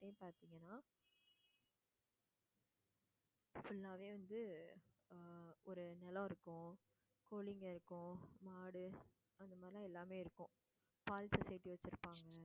பார்த்தீங்கன்னா full ஆவே வந்து ஆஹ் ஒரு நிலம் இருக்கும் கோழிங்க இருக்கும் மாடு அந்த மாதிரி எல்லாமே இருக்கும் பால் society வச்சுருப்பாங்க.